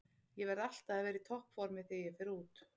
Ég verð alltaf að vera í toppformi þegar ég fer í út